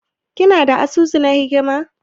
Kana da asusu na hikimar?